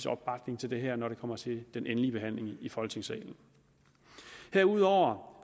opbakning til det her når det kommer til den endelige behandling i folketingssalen herudover